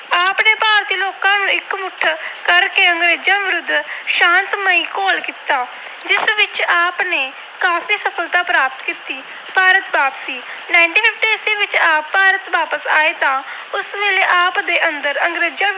ਕਰਕੇ ਅੰਗਰੇਜਾਂ ਵਿਰੁੱਧ ਸ਼ਾਤਮਈ ਘੋਲ ਕੀਤਾ ਜਿਸ ਵਿੱਚ ਆਪ ਨੇ ਕਾਫੀ ਸਫਲਤਾ ਪ੍ਰਾਪਤ ਕੀਤੀ। ਭਾਰਤ ਵਾਪਸੀ - ਉਨੀ ਸੌ ਚੌਦਾਂ ਵਿੱਚ ਆਪ ਭਾਰਤ ਵਾਪਸ ਆਏ ਤਾਂ ਉਸ ਸਮੇਂ ਆਪ ਦੇ ਅੰਦਰ ਅੰਗਰੇਜਾਂ ਵਿਰੁੱਧ